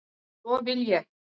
Og svo vil ég.